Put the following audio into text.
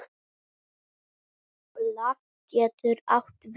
Embla getur átt við